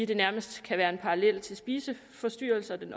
det nærmest kan være en parallel til spiseforstyrrelser det